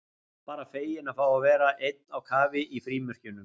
Bara feginn að fá að vera einn á kafi í frímerkjunum.